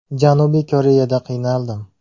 Janubiy Koreyada qiynaldim.